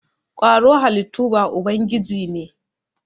kwaro halittu ba ubangiji ne.